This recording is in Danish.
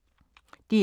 DR K